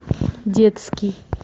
детский